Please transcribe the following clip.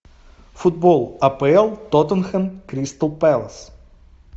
футбол апл тоттенхэм кристал пэлас